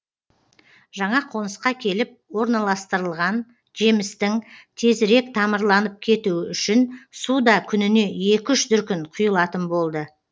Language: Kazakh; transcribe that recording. жаңа қонысқа келіп орналастырылған жемістің тезірек тамырланып кетуі үшін су да күніне екі үш дүркін құйылатын болды